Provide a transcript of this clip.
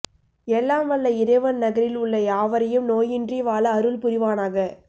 எல்லாம் வல்ல இறைவன் நகரில் உள்ள யாவரையும் நோயின்றி வாழ அருள் புரிவானாக